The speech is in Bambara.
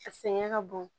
A sɛgɛn ka bon